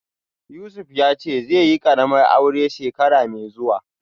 Yusuf yace zaiyi karamar aure shekara mai zuwa